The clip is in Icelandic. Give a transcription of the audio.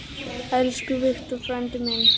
Elsku Victor frændi minn.